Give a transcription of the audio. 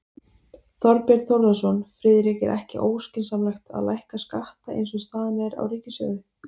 Þorbjörn Þórðarson: Friðrik er ekki óskynsamlegt að lækka skatta eins og staðan er á ríkissjóði?